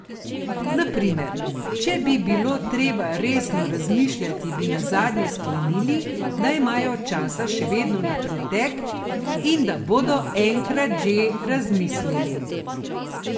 Na primer, če bi bilo treba resno razmišljati, bi nazadnje sklenili, da imajo časa še vedno na pretek in da bodo enkrat že razmislili.